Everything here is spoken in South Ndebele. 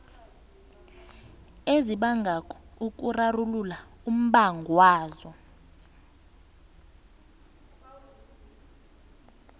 ezibangako ukurarulula umbangwazo